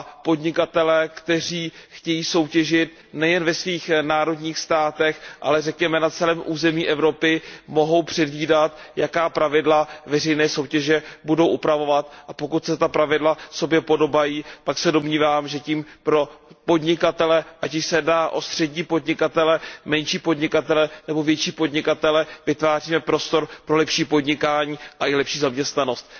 Podnikatelé, kteří chtějí soutěžit nejen ve svých národních státech, ale řekněme na celém území Evropy, mohou předvídat, jaká pravidla veřejné soutěže budou upravovat, a pokud se ta pravidla sobě podobají, pak se domnívám, že tím pro podnikatele, ať již se jedná o střední podnikatele, menší podnikatele nebo větší podnikatele, vytváříme prostor pro lepší podnikání a i lepší zaměstnanost.